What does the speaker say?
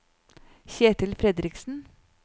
Ketil Fredriksen